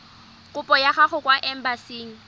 kopo ya gago kwa embasing